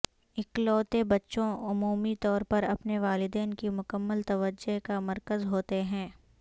اکلوتے بچوں عمومی طور پر اپنے والدین کی مکمل توجہ کا مرکز ہوتے ہیں